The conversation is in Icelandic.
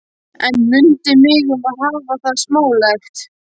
En mundu mig um að hafa það smálegt.